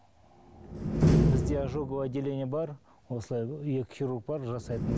бізде ожоговое отделение бар осылай екі хирург бар жасайтын